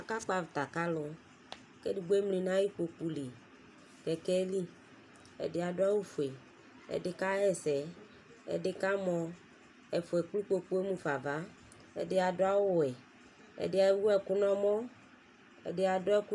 Aka kpɔ avita k'alʋ k'edigbo emli n'ay'ikpoku li, kɛkɛ yɛ li Ɛdi adʋ awʋ fue, ɛdi kaka ɛsɛ, ɛdi kamo, ɛfua ekple ikpoku yɛ mufa ava, ɛdi adʋ awʋ wɛ, ɛdi ewu ɛkʋ n'ɔmɔ, ɛdi adʋ ɛkʋ